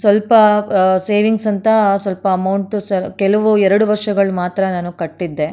ಸ್ವಲ್ಪ ಆ ಸೇವಿಂಗ್ಸ್ ಅಂತ ಸ್ವಲ್ಪ ಅಮೌಂಟ್ ಸ ಕೆಲವು ಎರಡು ವರ್ಷಗಳು ಮಾತ್ರ ನಾನು ಕಟ್ಟಿದ್ದೆ.